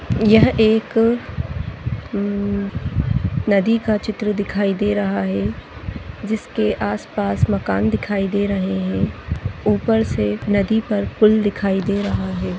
यह एक नदी का चित्र दिखाई दे रहा है जीस के आसपास मकान दिखाई दे रहे हैं ऊपर से नदी पर पुल दिखाई दे रहा हे।